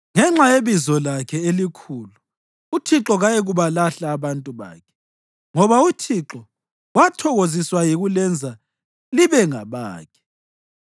Ngenxa yebizo lakhe elikhulu uThixo kayikubalahla abantu bakhe, ngoba uThixo wathokoziswa yikulenza libe ngabakhe.